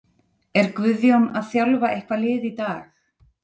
Er Guðjón að þjálfa eitthvað lið í dag?